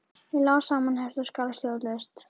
Ég lá samanherpt og skalf stjórnlaust.